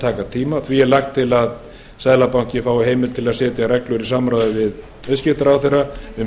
taka tíma því er lagt til að seðlabankinn fái heimild til að setja reglur í samráði við viðskiptaráðherra um